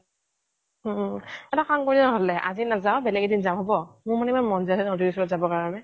ওম ওম ওম, এটা কাম কৰোঁ নহলে আজি নাজাও বেলেগ এদিন যাম হ'ব মোৰ মানে ইমান মন যাই আছে নদীৰ ওচৰত যাব কাৰণে